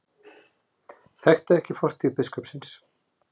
Þekkti ekki fortíð biskupsins